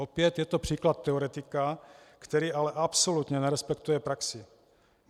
Opět je to příklad teoretika, který ale absolutně nerespektuje praxi.